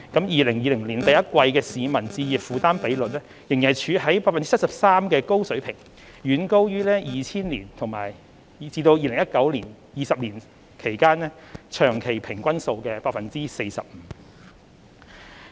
2020年第一季的市民置業負擔比率仍然處於 73% 的高水平，遠高於2000年至2019年20年長期平均數的 45%。